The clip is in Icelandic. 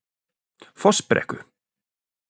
Fossbrekku